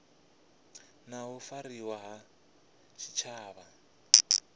na u fariwa ha tshitshavha